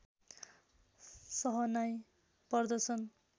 सहनाई पर्दछन्